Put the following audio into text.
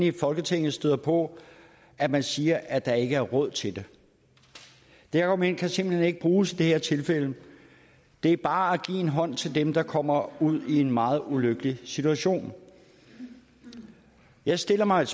i folketinget støder på at man siger at der ikke er råd til dem det argument kan simpelt hen ikke bruges i det her tilfælde det er bare at give en hånd til dem der kommer ud i en meget ulykkelig situation jeg stiller mig